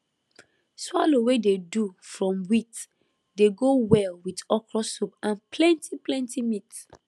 swallow wey dey do from wheat dey go well with okra soup and plenty plenty meat